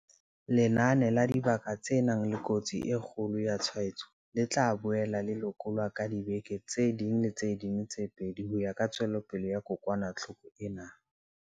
Lenane la dibaka tse nang le kotsi e kgolo ya tshwaetso le tla boela le lekolwa ka diveke tse ding le tse ding tse pedi ho ya ka tswelopele ya kokwanahloko ena.